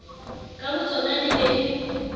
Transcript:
ka botsona di ne di